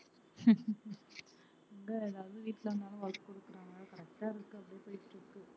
எங்க எல்லாரும் வீட்டுல இருந்தாலும் work குடுக்கிறாங்க correct ஆ இருக்கு அப்படியே போயிட்டு இருக்கு